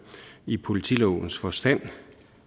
i politilovens forstand